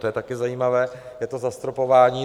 To je také zajímavé, je to zastropování.